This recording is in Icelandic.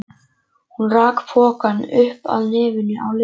Hún rak pokann upp að nefinu á Lillu.